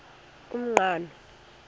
umqhano